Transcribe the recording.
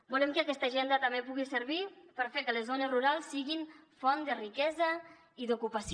volem que aquesta agenda també pugui servir per fer que les zones rurals siguin font de riquesa i d’ocupació